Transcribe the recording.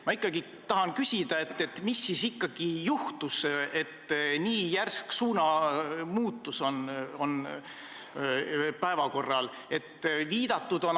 Ma tahan küsida, mis siis ikkagi juhtus, et nii järsk suunamuutus on päevakorral.